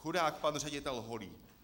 Chudák pan ředitel Holý!